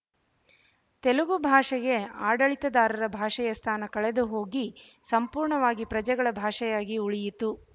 ತೆಲುಗು ಭಾಷೆಗೆ ಆಡಳಿತದಾರರ ಭಾಷೆಯ ಸ್ಥಾನ ಕಳೆದುಹೋಗಿ ಸಂಪೂರ್ಣವಾಗಿ ಪ್ರಜೆಗಳ ಭಾಷೆಯಾಗಿ ಉಳಿಯಿತು